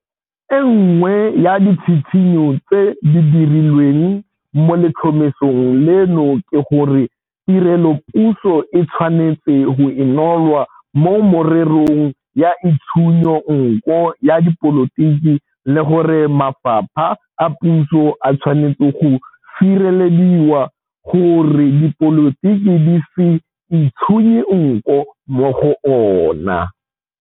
E nngwe ya ditshitshinyo tse di dirilweng mo letlhomesong leno ke gore tirelopuso e tshwanetse go inolwa mo mererong ya itshunyo nko ya dipolotiki le gore mafapha a puso a tshwanetse go sirelediwa gore dipolotiki di se itshunye nko mo go ona.